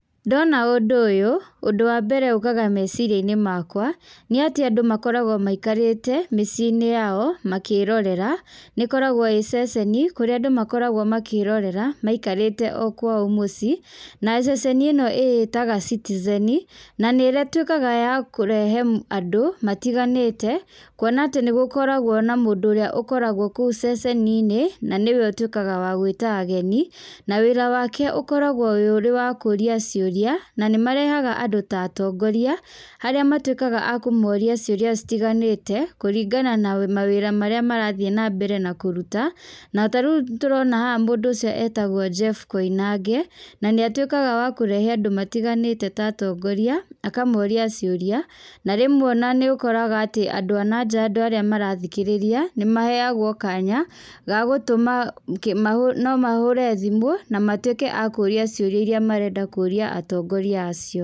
Ndona ũndũ ũyũ, ũndũ wa mbere ũkaga meciria-inĩ makwa, nĩ atĩ andũ makoragwo maikarĩte mĩciĩinĩ yao, makĩrorera, nĩkoragwo ĩ ceceni, kũrĩa andũ makoragwo makĩrorera, maikarĩte o kwao mũciĩ, na ceceni ino ĩĩtaga Citizen na nĩ ĩtuĩkaga ya kũrehe m andũ, matiganĩte, kuona atĩ nĩgũkoragwo na mũndũ ũrĩa ũkoragwo kũu ceceniinĩ, na nĩwe ũtuĩkaga wa gũĩta ageni, na wĩra wake ũkoragwo wĩ ũrĩ wa kũria ciũria, na nĩmarehaga andũ ta atongoria, arĩa matuĩkaga a kũmoria ciũria citiganĩte, kũringana na mawĩra marĩa marathiĩ nambere na kũruta, na tarĩũ tũrona haha mũndũ ũcio etagwo Jeff Koinange, na nĩatuĩka wa kũrehe andũ matiganĩte ta atongoria, akamoria ciũria, na rĩmwe ona nĩ ũkoraga andũ a nanja andũ arĩa marathikĩrĩria nĩmaheagwo kanya, gagũtũma kĩ mahũ no mahũre thimũ, na matuĩke a kũria ciũria iria marenda kũria atongoria acio.